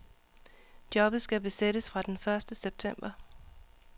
Jobbet skal besættes fra den første september.